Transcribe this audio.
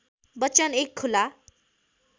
बच्चन एक खुला